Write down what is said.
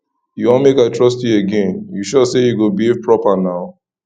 you wan make i trust you again you sure say you go behave proper now